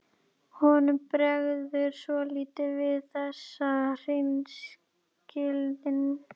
Honum bregður svolítið við þessa hreinskilni.